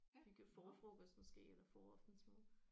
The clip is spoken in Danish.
Hygge forfrokost måske eller foraftensmad